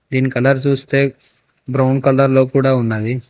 ఇక్కడ చూస్తే brown colour లో కూడా ఉన్నది.